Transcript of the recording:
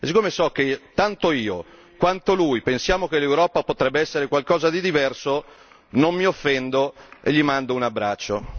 E siccome so che tanto io quanto lui pensiamo che l'Europa potrebbe essere qualcosa di diverso, non mi offendo e gli mando un abbraccio.